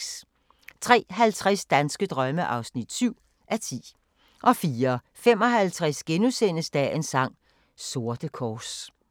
03:50: Danske drømme (7:10) 04:55: Dagens sang: Sorte kors *